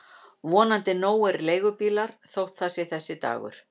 Vonandi nógir leigubílar þótt það sé þessi dagur.